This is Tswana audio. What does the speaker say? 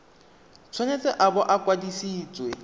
tshwanetse a bo a kwadisitswe